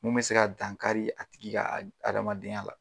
Mun be se ka dan kari a tigi ka adamaden ya la.